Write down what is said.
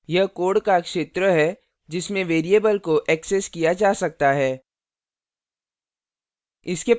यह code का क्षेत्र है जिसमें variable को ऐक्सेस किया जा सकता है